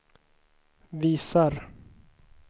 visar